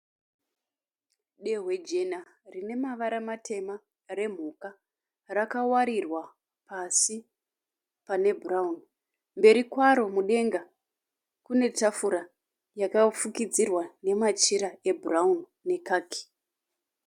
Dehwe jena rine mavara matema remhuka. Rakawarirwa pasi pane bhurauni. Mberi kwaro mudenga kunetafura yakafukidzirwa nemachira ebhurauni nekaki.